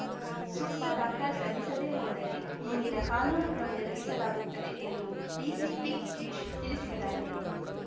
ಸೂಕ್ತ ದಾಖಲೆ ಸಲ್ಲಿಸದೆ ಹೋದರೆ ಮುಂದಿನ ಕಾನೂನು ಕ್ರಮ ಜರುಗಿಸಲಾಗುತ್ತದೆ ಎಂದು ಡಿಸಿಪಿ ಗಿರೀಶ್‌ ತಿಳಿಸಿದ್ದಾರೆ